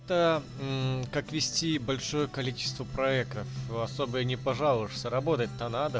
то мм как вести большое количество проектов особо и не пожалуешься работать то надо